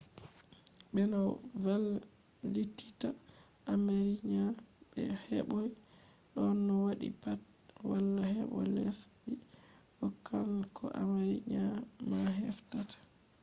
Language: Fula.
ɓe no vanlititta armenia be heboi ɗon. no waɗi pat wala hebo lesdi- ko kan ko armenia - ma heftata